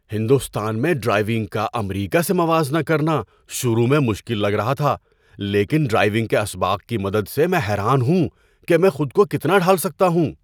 ہندوستان میں ڈرائیونگ کا امریکہ سے موازنہ کرنا شروع میں مشکل لگ رہا تھا، لیکن ڈرائیونگ کے اسباق کی مدد سے میں حیران ہوں کہ میں خود کو کتنا ڈھال سکتا ہوں!